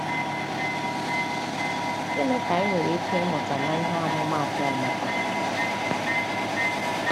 Gịnị ka anyị nwere ike ịmụta n’ihe omumaatụ Emeka?